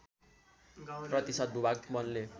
प्रतिशत भूभाग वनले